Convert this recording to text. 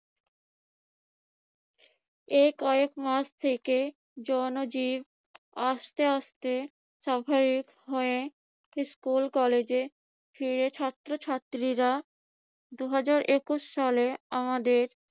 এই কয়েকমাস থেকে জনজীবন আস্তে আস্তে স্বাভাবিক হয়ে স্কুল-কলেজে ফিরে ছাত্রছাত্রীরা দুহাজার একুশ সালে আমাদের